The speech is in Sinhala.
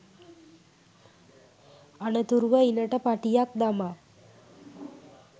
අනතුරුව ඉණට පටියක් දමා